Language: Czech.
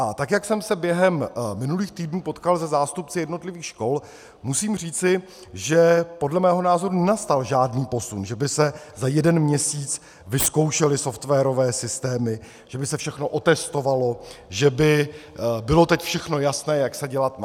A tak jak jsem se během minulých týdnů potkal se zástupci jednotlivých škol, musím říci, že podle mého názoru nenastal žádný posun, že by se za jeden měsíc vyzkoušely softwarové systémy, že by se všechno otestovalo, že by bylo teď všechno jasné, jak se dělat má.